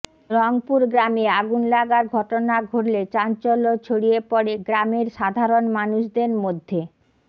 রংপুর গ্রামে আগুন লাগার ঘটনা ঘটলে চাঞ্চল্য ছড়িয়ে পরে গ্রামের সাধারণ মানুষদের মধ্যে